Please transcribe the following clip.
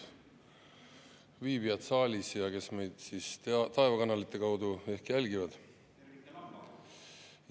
Lugupeetud saalis viibijad ja kõik, kes meid taevakanalite kaudu jälgivad!